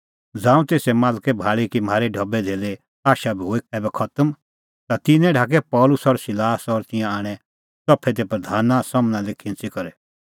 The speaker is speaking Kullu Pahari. ज़ांऊं तेसे मालकै भाल़ी कि म्हारी ढबैधेल्ले आशा बी हुई ऐबै खतम ता तिन्नैं ढाकै पल़सी और सिलास और तिंयां आणै च़फै दी प्रधाना सम्हनै लै खिंच़ी करै